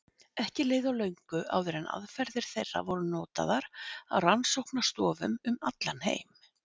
Ekki leið á löngu áður en aðferðir þeirra voru notaðar á rannsóknarstofum um allan heim.